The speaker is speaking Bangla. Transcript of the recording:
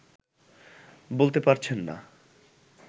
বলতে পারছেন না